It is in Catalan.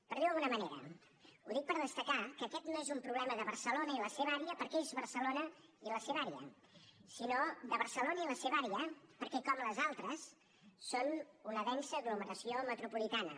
per dir ho d’alguna manera ho dic per destacar que aquest no és un problema de barcelona i la seva àrea perquè és barcelona i la seva àrea sinó de barcelona i la seva àrea perquè com les altres és una densa aglomeració metropolitana